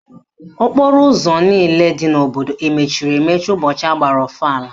Okporo ụzọ niile dị n'obodo emechiri emechi ụbọchị agbara ọfala?